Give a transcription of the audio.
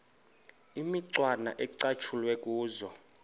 imicwana ecatshulwe kuzo